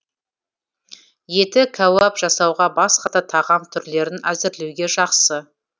еті кәуап жасауға басқа да тағам түрлерін әзірлеуге жақсы